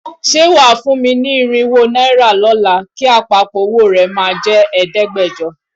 Ṣé wà á fún mi ní irínwó náírà lọ́la, kí àpapọ̀ owó rẹ máa jẹ́ ẹ̀ẹ́dẹ́gbẹ̀jọ?